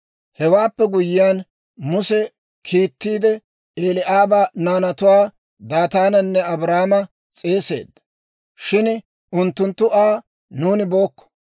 Hewaappe guyyiyaan, Muse kiittiide Eli'aaba naanatuwaa, Daataananne Abiiraama s'eesisseedda; shin unttunttu Aa, «Nuuni bookko!